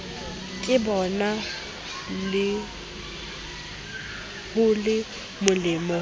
ke bona ho le molemo